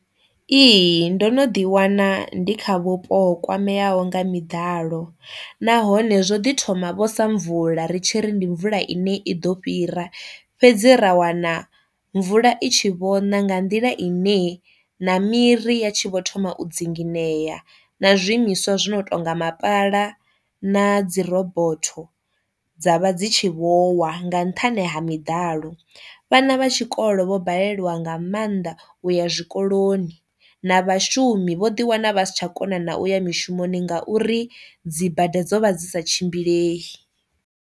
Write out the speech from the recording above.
Ihi ndo no ḓi wana ndi kha vhupo ho kwameaho nga miḓalo, nahone zwo ḓi thoma vho sa mvula ri tshi ri ndi mvula ine i ḓo fhira, fhedzi ra wana mvula i tshi vho ṋa nga nḓila ine na miri ya tshi vho thoma u dzinginyea na zwiimiswa zwo no tonga mapala na dzi robotho dza vha dzi tshi vho wa nga nṱhani ha miḓalo, vhana vha tshikolo vho balelwa nga maanḓa u ya zwikoloni na vhashumi vho ḓi wana vha si tsha kona na uya mishumoni ngauri dzi bada dzo vha dzi sa tshimbilei.